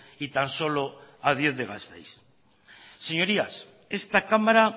y tan solo a diez de gasteiz señorías esta cámara